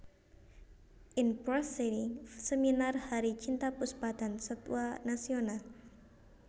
In Prosiding Seminar Hari Cinta Puspa dan Satwa Nasional